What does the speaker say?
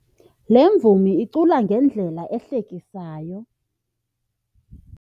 Le mvumi icula ngendlela ehlekisayo.